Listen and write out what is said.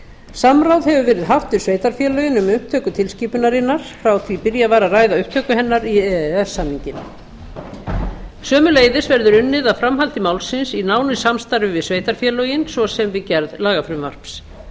samráð hefur verið haft við sveitarfélögin um upptöku tilskipunarinnar frá því byrjað var að ræða upptöku hennar í e e s samninginn sömuleiðis verður unnið að framhaldi málsins í nánu samstarfi við sveitarfélögin svo sem við gerð lagafrumvarps